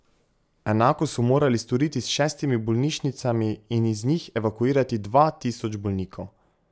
Enako so morali storiti s šestimi bolnišnicami in iz njih evakuirati dva tisoč bolnikov.